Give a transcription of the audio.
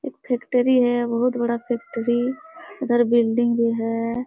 एक फैक्टरी है बहुत बड़ा फैक्टरी इधर बिल्डिंग भी है।